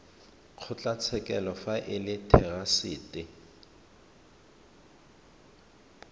kgotlatshekelo fa e le therasete